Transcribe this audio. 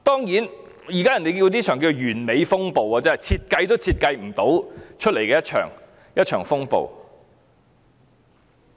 人們稱這亂象為"完美風暴"，是設計也設計不來的一場風暴。